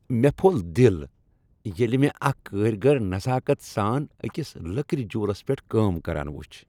مےٚ پھوٚل دل ییٚلہ مےٚ اکھ کٲرۍگر نزاکت سان أکس لٔکر جوٗلس پیٹھ کٲم کران وچھ۔